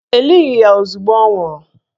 E lighi ya ozugbo ọ nwụrụ